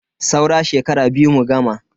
Saura shekara biyu mu gama.